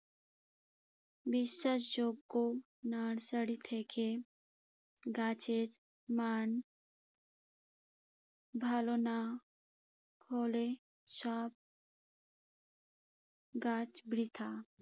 বিশ্বাসযোগ্য নার্সারি থেকে গাছের মান ভালো না হলে সব কাজ বৃথা।